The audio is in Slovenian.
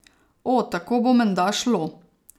O, tako bo menda šlo.